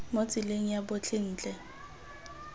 mo tseleng ya botlhe ntle